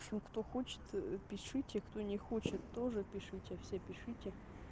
в общем кто хочет пишите кто не хочет тоже пишите все пишите